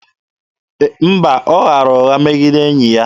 Mba, ọ ghara ụgha megide enyi ya.